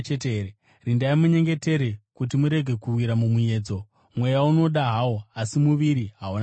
Rindai munyengetere kuti murege kuwira mumuedzo. Mweya unoda hawo, asi muviri hauna simba.”